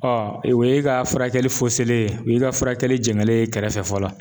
o ye ka furakɛli ye, o y'i ka furakɛli jɛgɛnlen ye kɛrɛfɛ fɔlɔ